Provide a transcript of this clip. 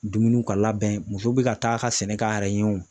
Dumuniw ka labɛn musow bɛ ka taa ka sɛnɛ k'a yɛrɛ ɲɛ wo.